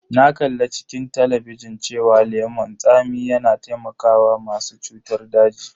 Na kalla a cikin talabijin cewa lemon tsami yana taimakawa masu cutar daji.